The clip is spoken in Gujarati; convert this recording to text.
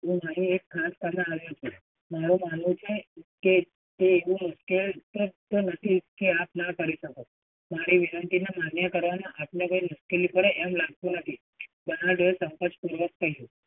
નવી ખાસ એક ખાસ સલાહ આવી છે. મારુ માનવું છે કે એવું મુશ્કેલ નથી કે આપ ના કરી શકો. મારી વિનંતીને માન્ય કરવામાં આપને કોઈ મુશ્કેલી પડે એવું કોઈ લાગતું નથી, બર્નાડએ સંકોચ પૂર્વક કહ્યું.